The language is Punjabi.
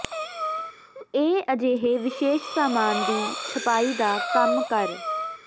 ਇਹ ਅਜਿਹੇ ਵਿਸ਼ੇਸ਼ ਸਾਮਾਨ ਦੀ ਛਪਾਈ ਦਾ ਕੰਮ ਕਰ